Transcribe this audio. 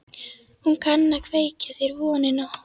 Hún kann að kveikja þér vonina.